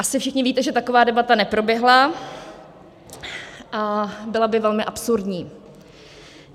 Asi všichni víte, že taková debata neproběhla a byla by velmi absurdní.